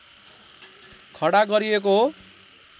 खडा गरिएको हो